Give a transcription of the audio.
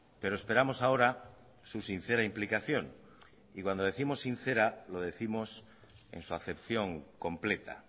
pero esperamos ahora su sincera implicación y cuando décimos sincera lo décimos en su acepción completa